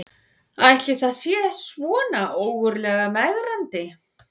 Ætli það sé svona ógurlega megrandi